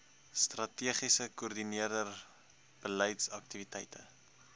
strategie koördineer beleidsaktiwiteite